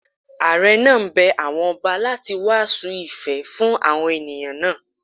Àre náà bẹ àwọn ọba láti wàásù ìfẹ́ fún àwọn ènìyàn náà.